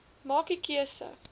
maak u keuse